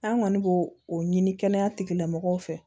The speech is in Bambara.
An kɔni b'o o ɲini kɛnɛya tigilamɔgɔw fɛ